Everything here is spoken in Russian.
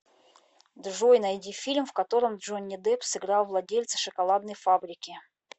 джой найди фильм в котором джонни депп сыграл владельца шоколадной фабрики